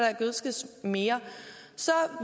gødskes mere så